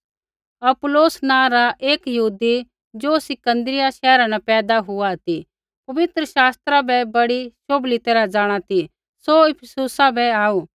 अपुल्लोस नाँ रा एक यहूदी ज़ो सिकन्दरिया शैहरा न पैदा हुआ ती पवित्र शास्त्रा बै बड़ी शोभली तैरहा जाँणा ती सौ इफिसुसा बै आऊ